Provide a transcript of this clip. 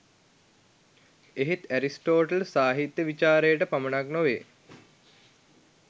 එහෙත් ඇරිස්ටෝටල් සාහිත්‍ය විචාරයට පමණක් නොව